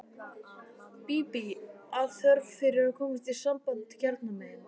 Bíbí af þörf fyrir að komast í samband hérna megin.